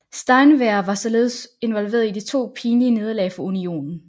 Steinwehr var således involveret i to pinlige nederlag for Unionen